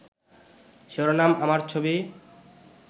শিরোনাম আমার ছবি